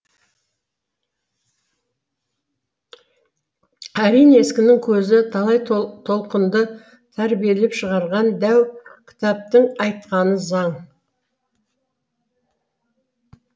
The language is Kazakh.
әрине ескінің көзі талай толқынды тәрбиелеп шығарған дәу кітаптың айтқаны заң